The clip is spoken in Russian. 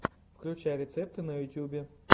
включай рецепты на ютюбе